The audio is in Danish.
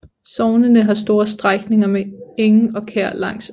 Sognene har store strækninger med enge og kær langs åen